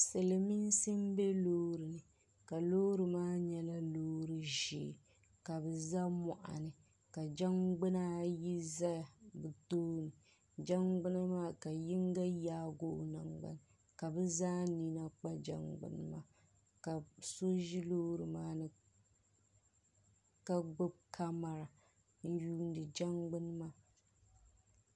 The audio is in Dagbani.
silimiinsi m-be loori ni ka loori maa nyɛla loori ʒee ka bɛ za mɔɣini ka jangbuna ayi zaya ni doo jangbuna maa yinga yaagi o nangbani ka bɛ zaa nina kpa jangbuni maa ka so ʒi loori maa ni ka gbubi kamara n-yuundi jangbuni maa.